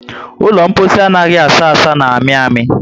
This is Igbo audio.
Ụlọ mposi anaghị asa asa na amị amị